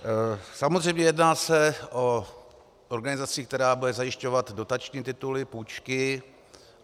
Samozřejmě se jedná o organizaci, která bude zajišťovat dotační tituly, půjčky.